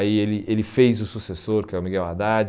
Aí ele ele fez o sucessor, que é o Miguel Haddad.